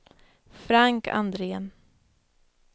Frank Andrén